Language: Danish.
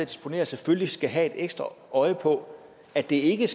disponerer selvfølgelig skal have et ekstra øje på at det ikke